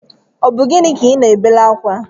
Ọ bu gịnị ka I ná-ebere akwa?